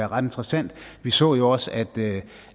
ret interessant vi så jo også at